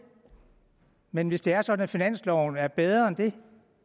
men hvis det er sådan at finansloven er bedre end det